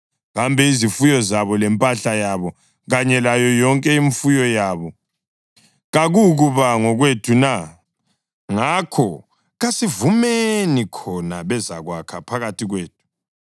Kambe izifuyo zabo, lempahla yabo kanye layo yonke imfuyo yabo kakukuba ngokwethu na? Ngakho kasivumeni, khona bezakwakha phakathi kwethu.”